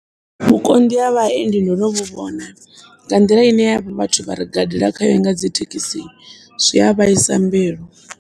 Vhukonḓi ha vhaendi ndono vhuvhona, nga nḓila ine havha vhathu vharigadela khayo nga dzithekisi zwia vhaisa mbilu.